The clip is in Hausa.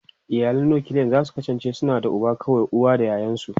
Iyalin nukiliya za su kasance suna da uba kawai, uwa da ’ya’yansu.